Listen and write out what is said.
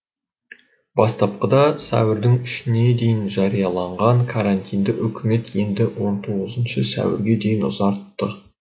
бастапқыда сәуірдің үшіне дейін жарияланған карантинді үкімет енді он тоғызыншы сәуірге дейін ұзартты